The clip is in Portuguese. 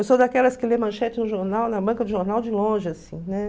Eu sou daquelas que lê manchete no jornal, na banca do jornal, de longe, assim, né?